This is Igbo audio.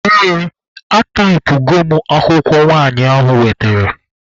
Ee, ataipụgo m akwụkwọ nwanyị ahụ wetere.